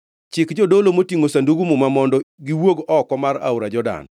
“Chik jodolo motingʼo Sandug Muma mondo giwuog oko mar aora Jordan.”